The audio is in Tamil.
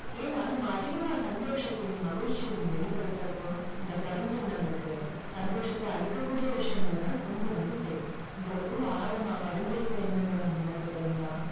ஏன்னா நம்ம அதிகமா சந்தோஷத்தையும் மகிழ்ச்சியையும் வெளிப்படுத்துறப்போ இந்த பிரபஞ்சம் நம்மளுக்கு சந்தோஷத்தை அளிக்கக்கூடிய விஷயங்களை தான் கொண்டு வந்து சேர்க்கும் உங்களுக்குள்ள ஆழமா பதிஞ்சி இருக்குற எண்ணங்களும் உணர்வுகளும் தான்